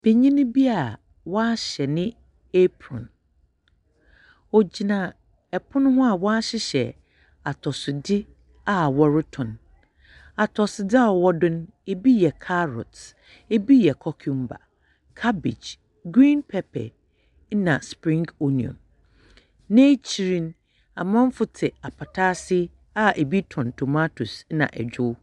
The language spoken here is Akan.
Benyin bi a ɔahyɛ ne apron. Ogyina ponohoa a wɔahyehyɛ atosodze a wɔroto. Atosodze a ɔwɔ do no, bi yɛ carrot, bi yɛ cucumber, cabbage, green pepper, na spring onion. N'ekyir no amanfo te apata aseabi roton tomatoes na ɛdwew.